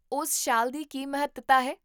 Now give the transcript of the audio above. ਉਸ ਸ਼ਾਲ ਦੀ ਕੀ ਮਹੱਤਤਾ ਹੈ?